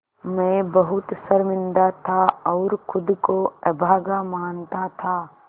मैं बहुत शर्मिंदा था और ख़ुद को अभागा मानता था